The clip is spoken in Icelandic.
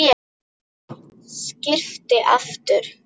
Skyrpir aftur.